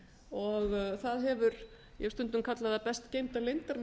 og ég hef stundum kallað það best geymda leyndarmál